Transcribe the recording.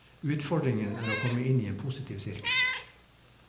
Utfordringen er å komme inn i en positiv sirkel.